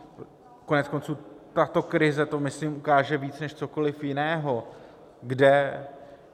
Koneckonců tato krize to, myslím, ukáže víc než cokoliv jiného.